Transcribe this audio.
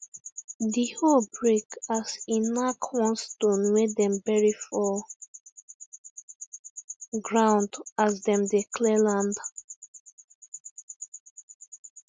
the hoe break as e knack one stone wey dem bury for ground as dem dey clear land